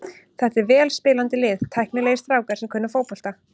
Þetta er vel spilandi lið, tæknilegir strákar sem kunna fótbolta.